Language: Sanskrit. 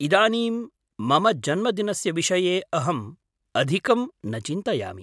इदानीं मम जन्मदिनस्य विषये अहम् अधिकं न चिन्तयामि।